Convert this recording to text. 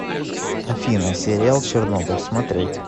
афина сериал чернобыль смотреть